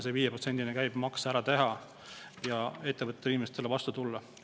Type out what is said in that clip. See 5%-line käibemaks tuleb ära teha, et ettevõtetele ja inimestele vastu tulla.